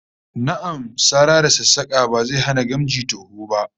Na'am, sara da sassaka ba zai hana gamji toho ba